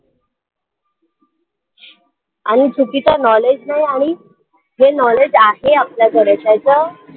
आणि चुकीचं knowledge नाही आणि जे knowledge आहे आपल्याकडे त्याचं